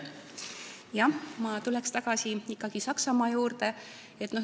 Jah, ma tulen ikkagi tagasi Saksamaa juurde.